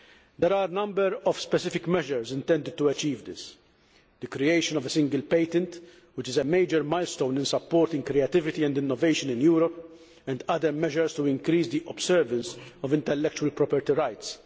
There are a number of specific measures intended to achieve this the creation of a single patent, which is a major milestone in supporting creativity and innovation in Europe, and other measures to increase the observance of intellectual property rights